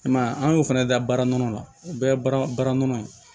I m'a ye an y'o fɛnɛ da baara nɔnɔ la o bɛɛ ye baara nɔnɔ ye